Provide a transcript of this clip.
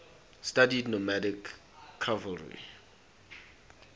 studied nomadic cavalry